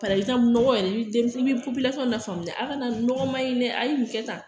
Parɛzanpu mɔgɔ yɛrɛ e bi denmi e bi popilasɔn lafaamuya a ka nɔgɔ maɲi nina kɛ tan